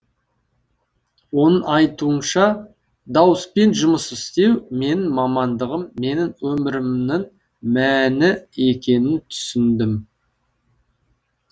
оның айтуынша дауыспен жұмыс істеу менің мамандығым менің өмірімнің мәні екенін түсіндім